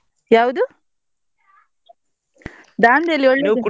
ಯಾವ್ದು? Dandeli .